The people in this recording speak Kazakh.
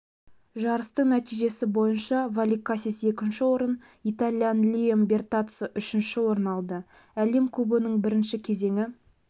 жарыстың нәтижесі бойынша воликакис екінші орын итальян лиам бертаццо үшінші орын алды әлем кубогының бірінші кезеңі